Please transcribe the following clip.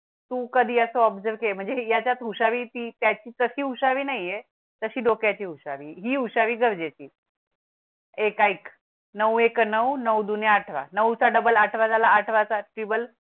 तू कधी असं observe म्हणजे याच्यात हुशारी ती त्याची तशी हुशारी नाही ये तशी डोक्याची हुशारी ही हुशारी गरजे ची. एक आइक नऊ एक नऊ, नऊ दूने आठरा नऊ चा डबल आठरा झाला आठरा चा टीबल